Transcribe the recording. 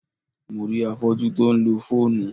Mo rí afọ́jú tí ó ń lo fóònù.